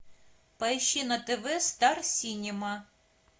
поищи на тв стар синема